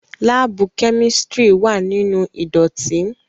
Laabu kemistri wa ninu idotin